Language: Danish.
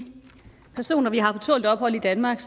personer vi har på tålt ophold i danmark